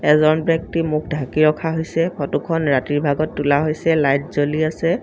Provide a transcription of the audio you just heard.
এজন ব্যক্তি মুখ ঢাকি ৰখা হৈছে ফটোখন ৰাতিৰ ভাগত তোলা হৈছে লাইট জ্বলি আছে।